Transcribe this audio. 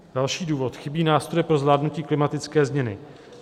Další důvod: "Chybí nástroje pro zvládnutí klimatické změny.